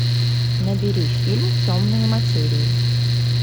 набери фильм темные материи